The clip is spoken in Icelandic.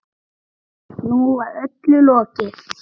Nú var öllu lokið.